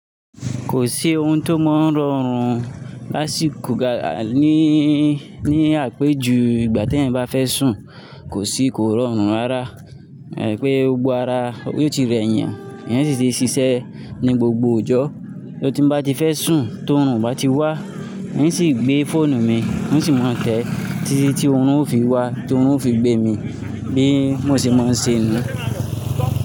Kò sí ohun tó mọ́ rọrùn láṣí kò gà ní, ní àpéjú ìgbà tí èyán bá fẹ́ sùn, kò sí kò rọrùn rárá. Ẹ̀ pé ogbó ara yóò ti rẹ èèyàn, èèyàn sì ti ń ṣiṣẹ́ ní gbogbo ọjọ́. So ti bá ń ti fẹ́ sùn, tó run o bá ti wá, ń sì gbé fóònù mi, ń sì máa tẹ́ ẹ títí tí ọrùn ó fi wá, tí ọrùn ó fi gbé mi bí mo ṣe máa ń ṣe ni.